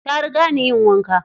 Ta riga ni yin wanka.